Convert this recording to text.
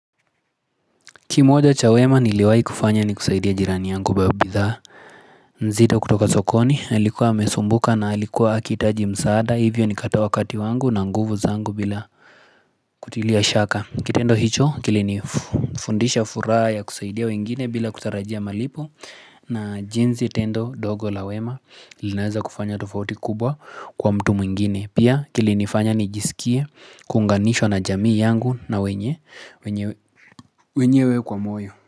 Kimoja cha wema niliwahi kufanya ni kusaidia jirani yangu nzito kutoka sokoni alikuwa amesumbuka na alikuwa akihitaji msaada hivyo nikatoa wakati wangu na nguvu zangu bila kutilia shaka kitendo hicho kilini fundisha furaha ya kusaidia wengine bila kutarajia malipo na jinsi tendo ndogo la wema linaweza kufanya tofauti kubwa kwa mtu mwingine pia kilinifanya nijisikie kuunganishwa na jamii yangu na wenyewe kwa moyo.